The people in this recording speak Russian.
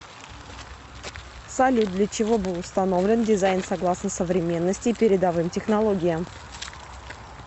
салют для чего был установлен дизайн согласно современности и передовым технологиям